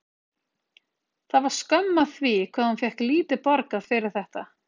Það var skömm að því hvað hún fékk lítið borgað fyrir þetta.